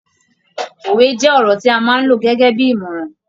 Òwe jẹ́ ọ̀rọ̀ tí a máa ń lo gẹ́gẹ́bí ìmọ̀ràn.